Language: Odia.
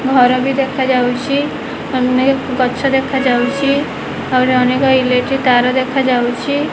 ଘର ବି ଦେଖାଯାଉଛି ଅନେକ ଗଛ ଦେଖାଯାଉଛି ଆଉରି ଅନେକ ଇଲେକ୍ଟ୍ରି ତାର ଦେଖାଯାଉଛି।